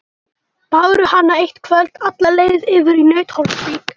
Báru hana eitt kvöld alla leið yfir í Nauthólsvík.